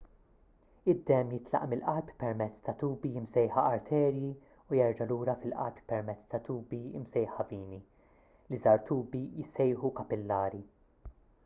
id-demm jitlaq mill-qalb permezz ta' tubi msejħa arterji u jerġa' lura fil-qalb permezz ta' tubi msejħa vini l-iżgħar tubi jissejħu kapillari